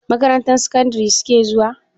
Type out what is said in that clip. Makarantar sakandari su ke zuwa?